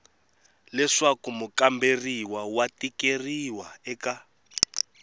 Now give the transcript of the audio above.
leswaku mukamberiwa wa tikeriwa eka